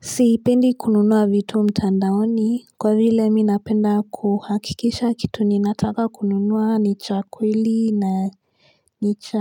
Sipendi kununua vitu mtandaoni Kwa vile minapenda kuhakikisha kitu ninataka kununua nicha kwili na nicha